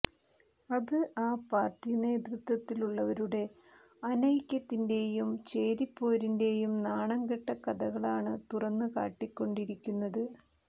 അത് ആ പാർട്ടി നേതൃത്വത്തിലുള്ളവരുടെ അനൈക്യത്തിന്റെയും ചേരിപ്പോരിന്റെയും നാണംകെട്ട കഥകളാണ് തുറന്നുകാട്ടിക്കൊണ്ടിരിക്കുന്നത്